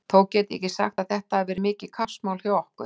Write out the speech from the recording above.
Þó get ég ekki sagt að þetta hafi verið mikið kappsmál hjá okkur.